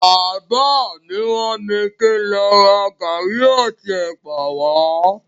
Bàbá mi ràn mí kín lọ ra garri àti ẹ̀pà wa.